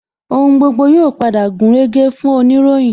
Ohun gbogbo yóò padà gúnrégé fún oniroyin